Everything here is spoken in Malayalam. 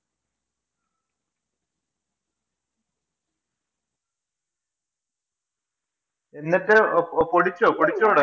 എന്നിട്ട് പൊടിച്ചോ? പൊടിച്ചു തൊടങ്ങിയോ?